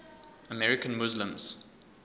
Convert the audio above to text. american muslims